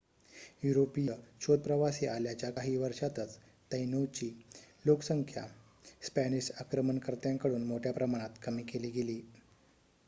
युरोपीय शोधप्रवासी आल्याच्या काही वर्षातच तैनोंची लोकसंख्या स्पॅनिश आक्रमणकर्त्यांकडून मोठ्या प्रमाणात कमी केली गेली